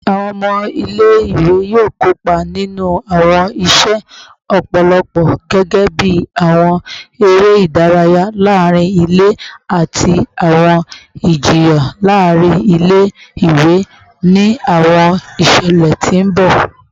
Awọn ọmọ ile-iwe yoo kopa ninu awọn iṣẹ lọpọlọpọ gẹgẹbi awọn ere idaraya laarin ile ati awọn ijiyan laarin ile-iwe ni awọn iṣẹlẹ ti n bọ